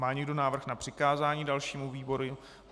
Má někdo návrh na přikázání dalšímu výboru?